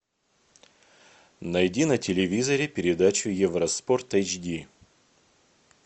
найди на телевизоре передачу евроспорт эйч ди